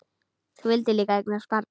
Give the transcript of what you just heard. Þú vildir líka eignast barn.